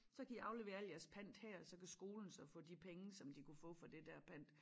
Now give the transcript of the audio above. Så kan i aflevere alt jeres pant her og så kan skolen så få de penge som de kunne få for det dér pant